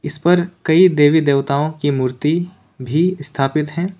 इस पर कई देवी देवताओं की मूर्ति भी स्थापित है।